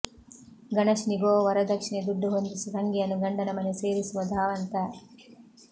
ಗಣೇಶನಿಗೋ ವರದಕ್ಷಿಣೆ ದುಡ್ಡು ಹೊಂದಿಸಿ ತಂಗಿಯನ್ನು ಗಂಡನ ಮನೆ ಸೇರಿಸುವ ಧಾವಂತ